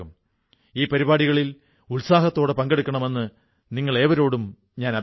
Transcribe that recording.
അവിടെ ഒരു കമ്പനി ചോളം കൃഷി ചെയ്യുന്ന കർഷകരിൽ നിന്ന് ചോളം വാങ്ങി